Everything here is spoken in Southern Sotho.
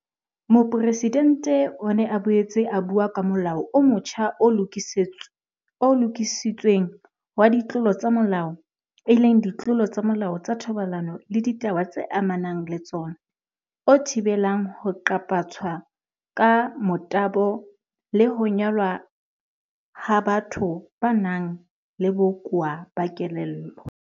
Mopresidente o ne a boetse a bua ka Molao o motjha o Lokisitsweng wa Ditlolo tsa Molao, Ditlolo tsa Molao tsa Thobalano le Ditaba tse Amanang le Tsona, o thibelang ho qaphatswa ka motabo le ho nyalwa ha batho ba nang le bokowa ba kelello.